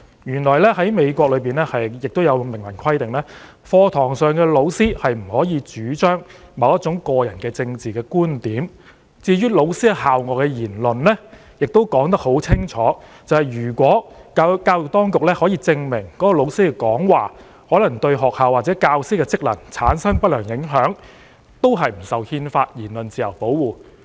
原來美國明文規定，教師不能在課堂上主張某種個人政治觀點；亦清楚訂明，關於教師在校外的言論，如教育當局能證明教師的講話可能對學校或教師的職能產生不良影響，有關教師便不受憲法下的言論自由保護。